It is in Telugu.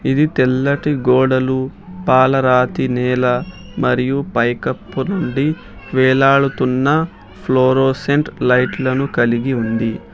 ఇది తెల్లటి గోడలు పాలరాతి నేల మరియు పైకప్పు నుండి వేలాడుతున్న ఫ్లోరోసెంట్ లైట్లను కలిగి ఉంది.